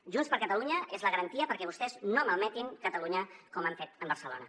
junts per catalunya és la garantia perquè vostès no malmetin catalunya com han fet amb barcelona